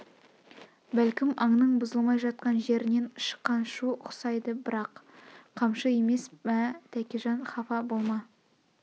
бәлкім аңның бұзылмай жатқан жерінен шыққан шу ұқсайды бірақ қамшы емес мә тәкежан хафа болма